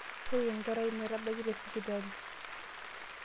Toriko enkerai sipitali metabaki.